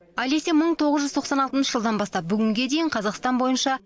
алеся мың тоғыз жүз тоқсан алтыншы жылдан бастап бүгінге дейін қазақстан бойынша